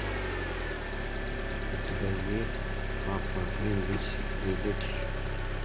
у тебя есть папа гринвич виллидж